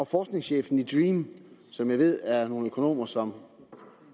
forskningschefen i dream som jeg ved er nogle økonomer som